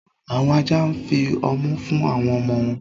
Awọn ajá nfí ọmù fún awọn ọmọ wọn.